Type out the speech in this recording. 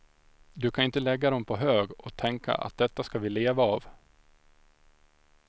Du kan ju inte lägga dem på hög och tänka att detta ska vi leva av.